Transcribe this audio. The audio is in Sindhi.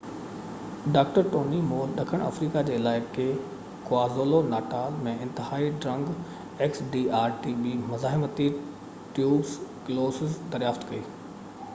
ڊاڪٽر ٽوني مول ڏکڻ آفريقا جي علائقي ڪوازولو-ناٽال ۾ انتهائي ڊرگ مزاحمتي ٽيوبر ڪلوسز xdr-tb دريافت ڪئي